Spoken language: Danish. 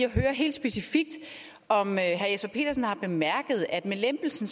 at høre helt specifikt om herre jesper petersen har bemærket at med lempelsen